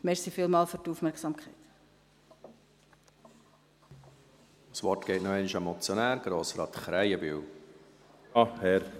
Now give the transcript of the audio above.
Das Wort geht noch einmal an den Motionär, Grossrat Krähenbühl.